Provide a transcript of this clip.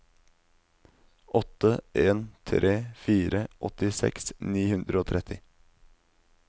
åtte en tre fire åttiseks ni hundre og tretti